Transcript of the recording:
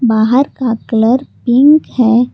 बाहर का colour pink है।